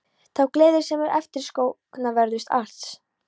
Þá gleði sem er eftirsóknarverðust alls.